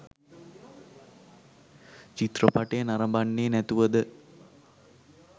චිත්‍රපටය නරඹන්නේ නැතුවද?